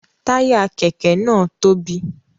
Taya kẹkẹ náà tóbi